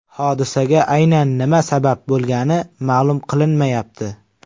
Hodisaga aynan nima sabab bo‘lgani ma’lum qilinmayapti.